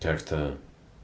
как-то